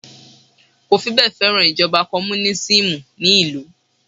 kò fibẹ́e feran ijoba komunisimu ni ilu